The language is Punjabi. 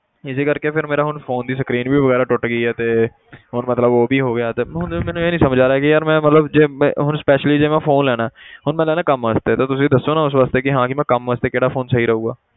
ਇਸੇ ਕਰਕੇ ਫਿਰ ਮੇਰਾ ਹੁਣ phone ਦੀ screen ਵੀ ਵਗ਼ੈਰਾ ਟੁੱਟ ਗਈ ਹੈ ਤੇ ਹੁਣ ਮਤਲਬ ਉਹ ਵੀ ਹੋ ਗਿਆ ਤੇ ਹੁਣ ਮੈਨੂੰ ਇਹ ਨੀ ਸਮਝ ਆ ਰਿਹਾ ਕਿ ਯਾਰ ਮੈਂ ਮਤਲਬ ਜੇ ਮੈਂ ਹੁਣ specially ਜੇ ਮੈਂ phone ਲੈਣਾ ਹੈ ਹੁਣ ਮੈਂ ਲੈਣਾ ਹੈ ਕੰਮ ਵਾਸਤੇ ਤੇ ਤੁਸੀਂ ਦੱਸੋ ਨਾ ਉਸ ਵਾਸਤੇ ਕਿ ਹਾਂ ਵੀ ਮੈਂ ਕੰਮ ਵਾਸਤੇ ਕਿਹੜਾ phone ਸਹੀ ਰਹੇਗਾ,